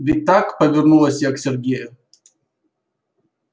ведь так повернулась я к сергею